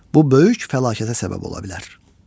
Bu böyük fəlakətə səbəb ola bilər.